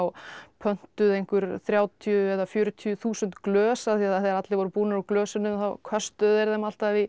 pöntuð einhver þrjátíu eða fjörutíu þúsund glös af því þegar allir voru búnir úr glösunum þá köstuðu þeir þeim alltaf í